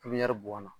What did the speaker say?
Pipiniyɛri bɔn na